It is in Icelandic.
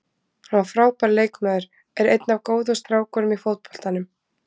Hann var frábær leikmaður og er einn af góðu strákunum í fótboltanum.